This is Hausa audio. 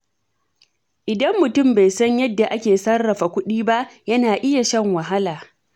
Idan mutum bai san yadda ake sarrafa kuɗi ba, yana iya shan wahala.